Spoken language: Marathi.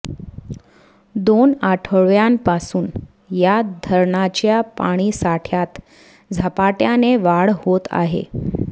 दोन आठवडय़ांपासून या धरणांच्या पाणीसाठय़ात झपाटय़ाने वाढ होत आहे